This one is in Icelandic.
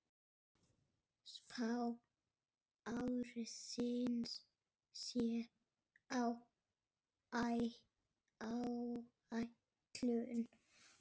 Spá ársins sé á áætlun.